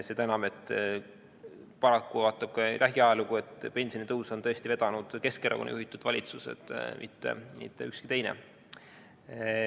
Seda enam, et paraku, kui vaadata lähiajalugu, siis pensionitõusu on tõesti vedanud Keskerakonna juhitud valitsused, mitte ükski teine.